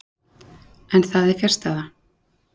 En það er fjarstæða.